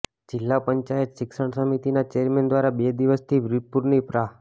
જિલ્લા પંચાયત શિક્ષણ સમિતિના ચેરમેન દ્વારા બે દિવસથી વિરપુરની પ્રા